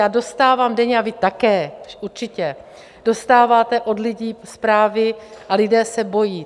Já dostávám denně - a vy také, určitě - dostáváte od lidí zprávy a lidé se bojí.